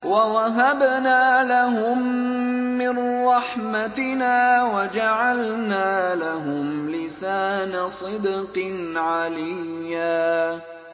وَوَهَبْنَا لَهُم مِّن رَّحْمَتِنَا وَجَعَلْنَا لَهُمْ لِسَانَ صِدْقٍ عَلِيًّا